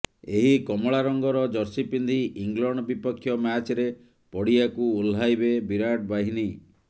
ଏହି କମଳା ରଙ୍ଗର ଜର୍ସି ପିନ୍ଧି ଇଂଲଣ୍ଡ ବିପକ୍ଷ ମ୍ୟାଚ୍ରେ ପଡ଼ିଆକୁ ଓହ୍ଲାଇବେ ବିରାଟ ବାହିନୀ